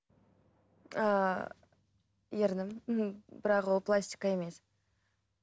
ыыы ернім бірақ ол пластика емес